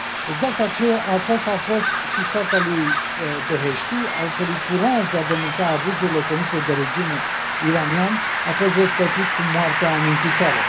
Exact aceasta a fost și soarta lui Beheshti, al cărui curaj de a denunța abuzurile comise de regimul iranian a fost răsplătit cu moartea în închisoare.